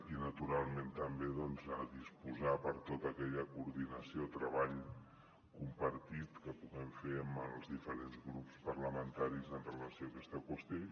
i naturalment també doncs a disposar per a tota aquella coordinació treball compartit que puguem fer amb els diferents grups parlamentaris en relació amb aquesta qüestió